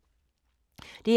DR2